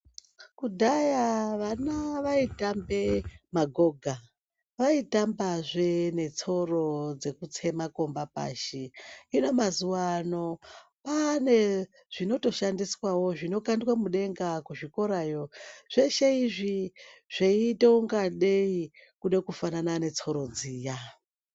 Kudhaya vana vaitambe magoga vaitambazve netsoro dzekutse makomba pashi hino mazuano kwane zvinotoshandiswa zvinokandwe mudenga kuzvikorayo zveshe izvi zveita ngadei kude kufana netsoro dziya.